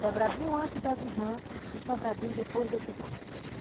Sobradinho antes das irmãs e Sobradinho depois das irmãs.